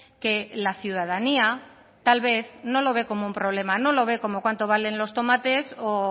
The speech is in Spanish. que la ciudadanía tal vez no lo ve como un problema no lo ve como cuánto valen los tomates o